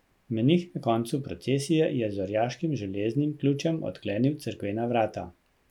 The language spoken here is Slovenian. Menih na koncu procesije je z orjaškim železnim ključem odklenil cerkvena vrata.